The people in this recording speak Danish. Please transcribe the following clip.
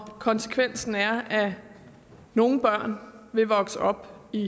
konsekvensen er at nogle børn vil vokse op i